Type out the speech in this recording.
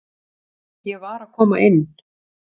Ég var að koma inn